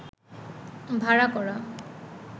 ভাড়া করা